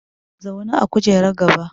Zauna a kujerar gaba!